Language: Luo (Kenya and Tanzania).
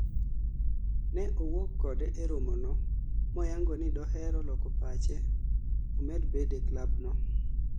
Ne owuok kode e romo no moyango ni dohero loko pache omed bede klab no